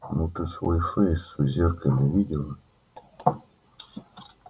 ну ты свой фейс в зеркале видела